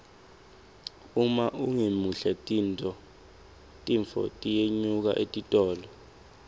uma ungemuhle tinfo tiyenyuka etitolo